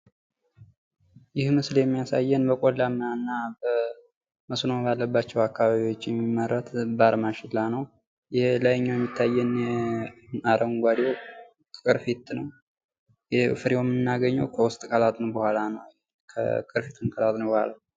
ይህ ምስል የሚያሳየን በቆላማ እና በመስኖ ባለባቸዉ አካባቢዎች የሚመረት ዘባር ማሽላ ነዉ። የላይኛዉ የሚታየን አረንጓዴዉ ቅርፊት ነዉ። ፍሬዉን የምናገኘዉ ከዉስጥ ነዉ ከላጥን በኋላ ነዉ። ቅርፊቱን ከላጥን በኋላ